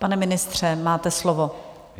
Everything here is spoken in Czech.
Pane ministře, máte slovo.